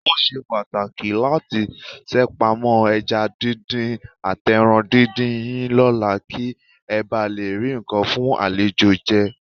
Ó ṣe pàtàkì láti ṣèpamọ́ ẹja díndín àtẹran díndín yín lọ́la kí ẹ bà lé rí nǹkan fún àlejò jẹ.